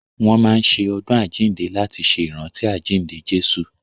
Wọ́n máa n ṣe ọdún àjínde láti ṣe ìrántí àjínde Jésù